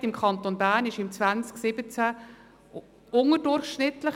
Die Arbeitslosigkeit im Kanton Bern war im 2017 unterdurchschnittlich.